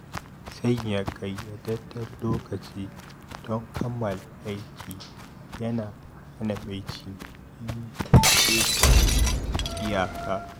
Sanya ƙayyadadden lokaci don kammala aiki yana hana mai jinkiri ƙetare iyaka.